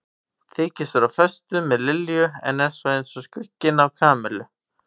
Þykist vera á föstu með Lilju en er svo eins og skugginn af Kamillu.